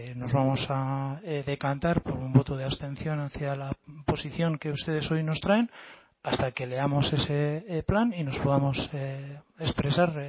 nos vamos a decantar por un voto de abstención hacia la posición que ustedes hoy nos traen hasta que leamos ese plan y nos podamos expresar